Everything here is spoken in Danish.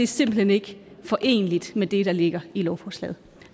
simpelt hen ikke foreneligt med det der ligger i lovforslaget